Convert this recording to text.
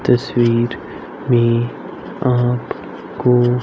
तस्वीर में आप को--